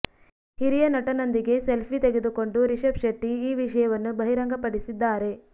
ಹಿರಿಯ ನಟನೊಂದಿಗೆ ಸೆಲ್ಫಿ ತೆಗೆದುಕೊಂಡು ರಿಷಬ್ ಶೆಟ್ಟಿ ಈ ವಿಷಯವನ್ನು ಬಹಿರಂಗಪಡಿಸಿದ್ದಾರೆ